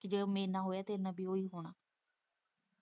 ਜੇ ਉਹ ਮੇਰੇ ਨਾਲ਼ ਹੋਇਆ ਤੇਰੇ ਨਾਲ਼ ਵੀ ਇਹੀ ਹੋਣਾ।